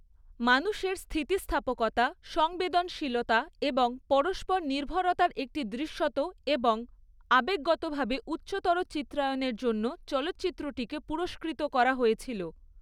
মানুষের স্থিতিস্থাপকতা, সংবেদনশীলতা এবং পরস্পর নির্ভরতার একটি দৃশ্যত এবং আবেগগতভাবে উচ্চতর চিত্রায়নের জন্য চলচ্চিত্রটিকে পুরস্কৃত করা হয়েছিল।